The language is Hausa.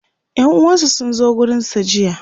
ƴan uwansa sun zo gurinsa jiya